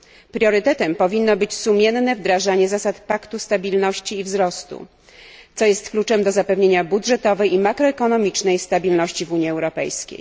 Priorytetem powinno być sumienne wdrażanie zasad Paktu Stabilności i Wzrostu, co jest kluczem do zapewnienia budżetowej i makroekonomicznej stabilności w Unii Europejskiej.